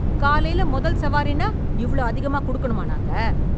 காலைல முதல் சவாரின்னா இவ்ளோ அதிகமா கொடுக்கணுமா நாங்க?